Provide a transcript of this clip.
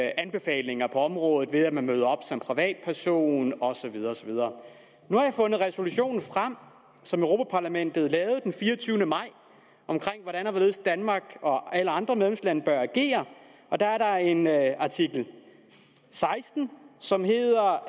anbefalinger på området ved at man møder op som privatperson og så videre nu har jeg fundet resolutionen frem som europa parlamentet lavede den fireogtyvende maj om hvordan og hvorledes danmark og alle andre medlemslande bør agere og der er der en artikel seksten som hedder